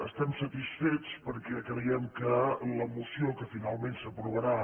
estem satisfets perquè creiem que la moció que finalment s’aprovarà